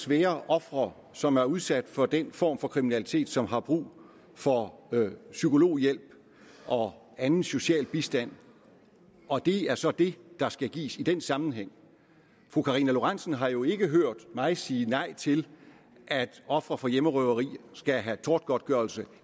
være ofre som er udsat for den form for kriminalitet som har brug for psykologhjælp og anden social bistand og det er så det der skal gives i den sammenhæng fru karina lorentzen dehnhardt har jo ikke hørt mig sige nej til at ofre for hjemmerøveri skal have tortgodtgørelse